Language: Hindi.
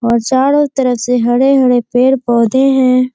और चारो तरफ से हरे-हरे पेड़-पौधे हैं।